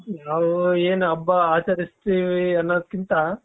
ನಾವು ಏನು ಹಬ್ಬ ಆಚರಿಸುತ್ತೇವೆ ಅನ್ನೋದಕ್ಕಿಂತ.